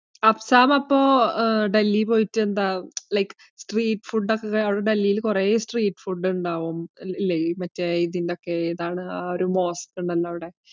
അഫ്‍തം അപ്പോൾ ആഹ് ഡൽഹിയിൽ പോയിട്ട് എന്താ like street ഫുഡ് ഒക്കെ, അവിടെ ഡൽഹിയിൽ കുറെ street ഫുഡ് ഉണ്ടാവും, ഇല്ലേ? മറ്റേ ഇതിന്റെ ഒക്കെ, ഏതാണ്? ആ ഒരു mosque ഉണ്ടല്ലോ അവിടെ